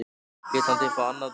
Lét hann þig fá annað bréf?